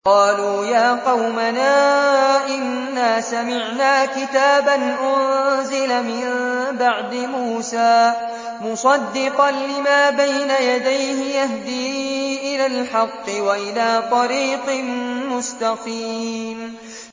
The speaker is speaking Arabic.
قَالُوا يَا قَوْمَنَا إِنَّا سَمِعْنَا كِتَابًا أُنزِلَ مِن بَعْدِ مُوسَىٰ مُصَدِّقًا لِّمَا بَيْنَ يَدَيْهِ يَهْدِي إِلَى الْحَقِّ وَإِلَىٰ طَرِيقٍ مُّسْتَقِيمٍ